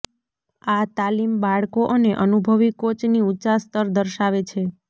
આ તાલીમ બાળકો અને અનુભવી કોચની ઊંચા સ્તર દર્શાવે છે